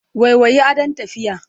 Waiwayi, adon tafiya.